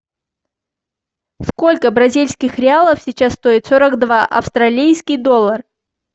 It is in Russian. сколько бразильских реалов сейчас стоит сорок два австралийский доллар